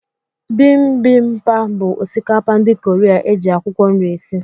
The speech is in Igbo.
Bimbimapu bụ osikapa ndị kọreaa, eji akwụkwọ nri esị.